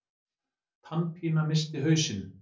Tannpína missti hausinn.